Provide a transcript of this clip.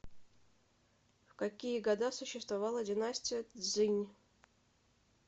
в какие года существовала династия цзинь